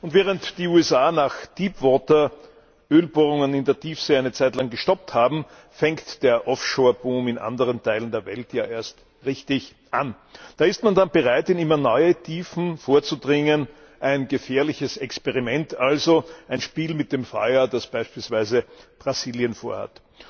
Und während die USA nach Deepwater Ölbohrungen in der Tiefsee eine Zeitlang gestoppt haben, fängt der Offshore Boom in anderen Teilen der Welt ja erst richtig an. Da ist man dann bereit, in immer neue Tiefen vorzudringen ein gefährliches Experiment also, ein Spiel mit dem Feuer, das beispielsweise Brasilien vorhat.